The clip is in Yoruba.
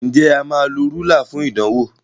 Nje a má ló Rúlà fún ìdánwò?